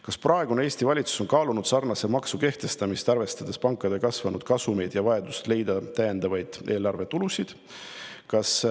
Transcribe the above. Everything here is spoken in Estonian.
Kas praegune Eesti valitsus on kaalunud sarnase maksu kehtestamist, arvestades pankade kasvanud kasumeid ja vajadust leida täiendavaid eelarvetulusid?